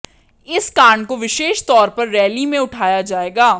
इस कांड को विशेष तौर पर रैली में उठाया जाएगा